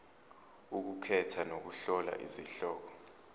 ukukhetha nokuhlola izihloko